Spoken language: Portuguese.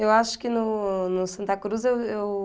Eu acho que no no Santa Cruz eu eu...